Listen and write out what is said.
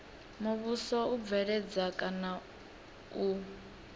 muvhuso u bveledza kana u